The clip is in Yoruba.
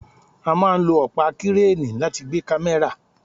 A máà lo ọpa Kireni láti gbe kamẹra